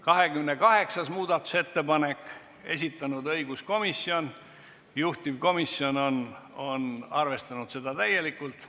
28. muudatusettepaneku on esitanud õiguskomisjon ja juhtivkomisjon on arvestanud seda täielikult.